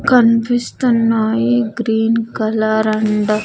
కనిపిస్తున్నాయి green colour and .